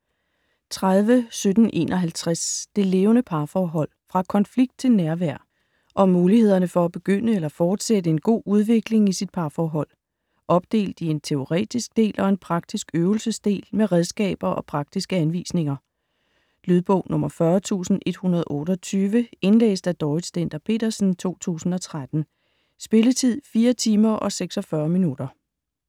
30.1751 Det levende parforhold: fra konflikt til nærvær Om mulighederne for at begynde eller fortsætte en god udvikling i sit parforhold. Opdelt i en teoretisk del og en praktisk øvelsesdel med redskaber og praktiske anvisninger. Lydbog 40128 Indlæst af Dorrit Stender-Petersen, 2013. Spilletid: 4 timer, 46 minutter.